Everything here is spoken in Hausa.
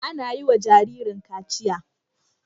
Ana yi wa jaririn kaciya.